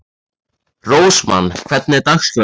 Rósmann, hvernig er dagskráin?